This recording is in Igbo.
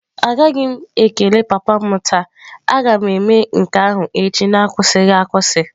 Anaghị m ekele papa m taa, a ga m eme nke ahụ echi n'akwụsịghị akwụsị.